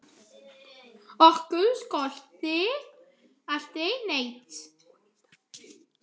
Okkur skorti aldrei neitt.